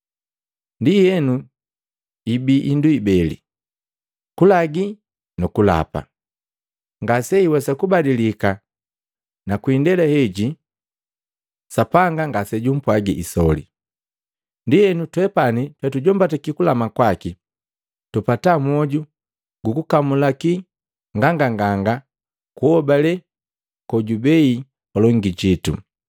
Ndienu ibii hindu ibeli: Kulagi nu kulapa, ngase iwesa kubadilika na kwi indela heji Sapanga ngasejupwaga isoli. Ndienu twepani twetujombataki kulama kwaki, tupata mwoju gu kukamulaki nganganganga kuhobale kojubei palongi jitu.